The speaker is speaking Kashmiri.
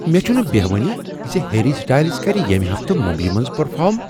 مےٚ چھنہٕ بیہوانٕے زِ ہیری سٹایلز کر ییٚمہ ہفتہٕ ممبے منز پرفارم۔